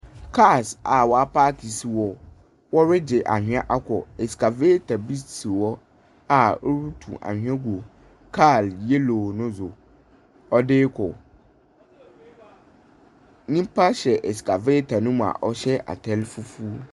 Cars a waapake si hɔ, wɔregye anhwea akɔ escavators bi si hɔ a ɔrotu anhwea gu kaal yellow no so, ɔde rokɔ. Nyimpa hyɛ escavator no mu a ɔhyɛ atar fufuw.